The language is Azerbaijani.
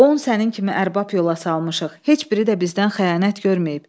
On sənin kimi ərbab yola salmışıq, heç biri də bizdən xəyanət görməyib.